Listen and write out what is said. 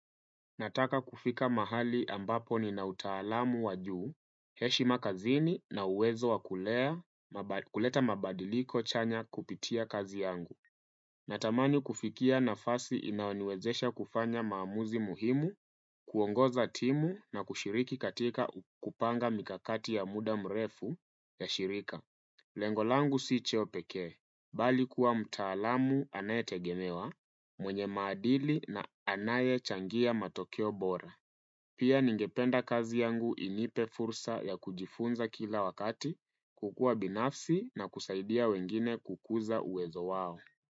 Nataka kufika mahali ambapo ni nautaalamu wajuu, heshi makazini na uwezo wakulea, kuleta mabadiliko chanya kupitia kazi yangu. Natamani kufikia nafasi inaoniwezesha kufanya maamuzi muhimu, kuongoza timu na kushiriki katika kupanga mikakati ya muda mrefu ya shirika. Lengolangu si ccheo peke, bali kuwa mtaalamu anaye tegemewa, mwenye maadili na anaye changia matokio bora. Pia ningependa kazi yangu inipe fursa ya kujifunza kila wakati, kukua binafsi na kusaidia wengine kukuza uezo wao.